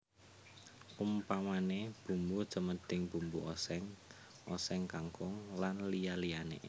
Umpamané bumbu cemedhing bumbu oséng oséng kangkung lan liya liyané